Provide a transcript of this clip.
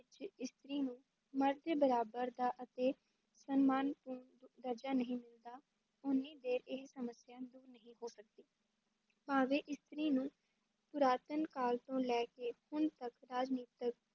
ਇਸਤਰੀ ਨੂੰ ਮਰਦ ਦੇ ਬਰਾਬਰ ਦਾ ਅਤੇ ਸਨਮਾਨ ਅਹ ਦ ਦਰਜ਼ਾ ਨਹੀਂ ਦਿੰਦਾ, ਉੱਨੀ ਦੇਰ ਇਹ ਸਮੱਸਿਆ ਦੂਰ ਨਹੀਂ ਹੋ ਸਕਦੀ, ਭਾਵੇਂ ਇਸਤਰੀ ਨੂੰ ਪੁਰਾਤਨ ਕਾਲ ਤੋਂ ਲੈ ਕੇ ਹੁਣ ਤੱਕ ਰਾਜਨੀਤਿਕ